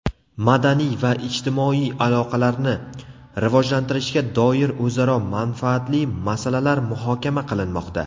madaniy va ijtimoiy aloqalarni rivojlantirishga doir o‘zaro manfaatli masalalar muhokama qilinmoqda.